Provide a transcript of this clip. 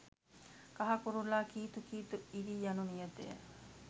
කහ කුරුල්ලා කීතු කීතු ඉරී යනු නියතය